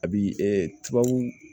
A bi tubabuw